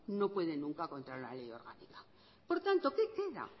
no puede nunca contra la ley orgánica por tanto qué queda